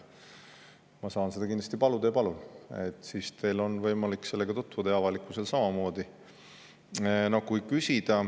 Ma saan seda neilt paluda ja palun, siis teil on võimalik sellega tutvuda ja avalikkusel samamoodi.